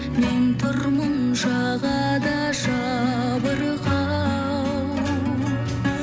мен тұрмын жағада жабырқау